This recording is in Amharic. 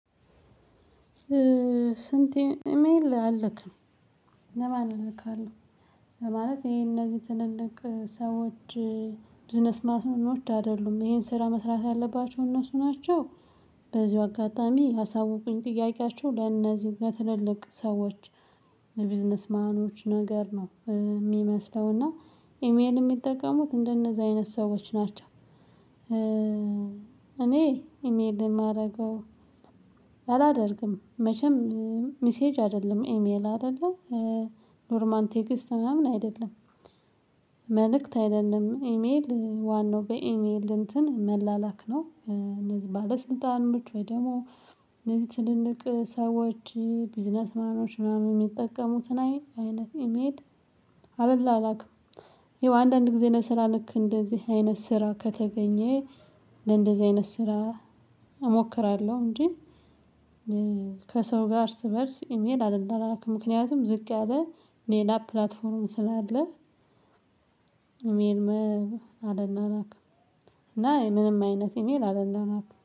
ስንት ኢሜይል አለክ? ለማን እልክካለው ማለት ይሄ እነዚህ ትልልቅ ሰዎች ቢዝነስ ማኖች አይደሉም። ይሄን ስራ መስራት ያለባቸው እነሱ ናቸው በዚህ አጋጣሚ አሳውቁኝ። ጥያቄያችሁ ለእነዚህ ለትልልቅ ሰዎች ለቢዝነስ ማኖች ነገር ነው የሚመስለው እና ኢሜል የሚጠቀሙት እንደነዛ አይነት ሰዎች ናቸው እኔ ኢሜይል የማደርገው አላደርግም መቼም ሚሴጅ አይደለም ኢሜይል አደለ ኖርማል ቴክስት ምናምን አይደለም መልእክት አይደለም ኢሜይል ዋናው በኢሜይል እንትን መላላክ ነው ባለስልጣኖች ወይ ደግሞ እነዚህ ትልልቅ ሰዎች ቢዝነስ ማኖች ምናምን ሚጠቀሙትን አይነት ኢሜይል አልላላክም። ይኸው አንዳንድ ጊዜ ለስራ ልክ እንደዚህ አይነት ስራ ከተገኘ ለእንደዚህ አይነት ስራ እሞክራለሁ እንጂ ከሰው ጋ እርስ በእርስ ኢሜይል አልላላክም። ምክንያቱም ዝቅ ያለ ሌላ ፕላትፎርም ስላለ ኢሜይል አልላላክም እና ምንም አይነት ኢሜይል አልላላክም